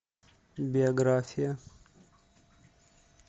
биография